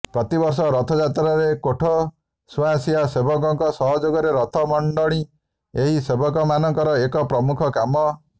ପ୍ରତିବର୍ଷ ରଥଯାତ୍ରାରେ କୋଠସୁଆଁସିଆ ସେବକଙ୍କ ସହଯୋଗରେ ରଥମଣ୍ଡଣି ଏହି ସେବକଙ୍କରଏକ ପ୍ରମୁଖ କାମ